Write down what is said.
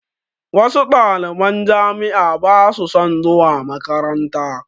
Wasu ɗaliban jami'a ba su son zuwa makaranta